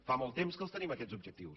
fa molt temps que els tenim aquests objectius